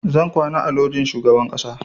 Zan kwana a lojin shugaban ƙasa